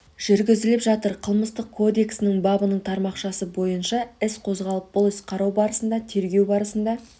жүргізіліп жатыр қылмыстық кодексінің бабының тармақшасы бойынша іс қозғалып бұл іс қарау барысында тергеу барысында